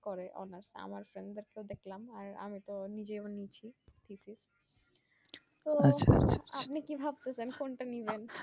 করে অনেক আমার সঙ্গে তো দেখলাম আর আমি তো নিজেও নিয়েছি physics তো আপনি কি ভাবতেছেন কোনটা নিবেন